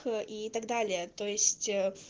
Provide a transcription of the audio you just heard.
и так далее то есть